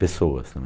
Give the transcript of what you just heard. Pessoas também.